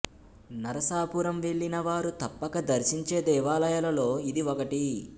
నరసాపురం వెళ్ళిన వారు తప్పక దర్శించే దేవాలయాలలో ఇది ఒకటి